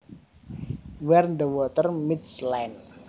Where the water meets land